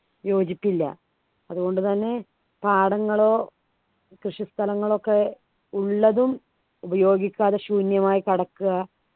യോജിപ്പില്ല അതുകൊണ്ടുതന്നെ പാടങ്ങളോ കൃഷിസ്ഥലങ്ങളൊക്കെ ഉള്ളതും ഉപയോഗിക്കാതെ ശൂന്യമായി കിടക്കുക